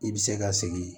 I bɛ se ka segin